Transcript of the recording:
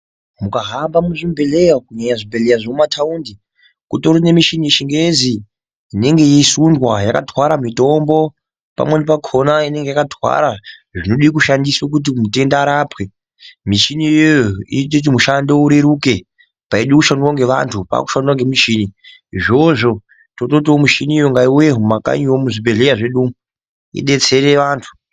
Mukahamba muzvibhedhleya umu kunyanya zvibhedhleya zvemumataundi kutori nemichini yechingezi inenge yeisundwa yakatwara mitombo. Pamweni pakona inenge yakatwara zvinode kushandiswa kuti mundenda arapwe. Michini iyoyo inoite kuti mushando ureruke, paide kushandwa ngevantu paakushandiwa ngemichini. Izvozvo tototiwo michiniyo ngaiuye mumakanyiwo muzvibhedhleya zvedumu idetsere vantu.